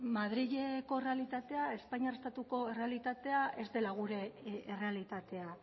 madrileko errealitatea espainiar estatuko errealitatea ez dela gure errealitatea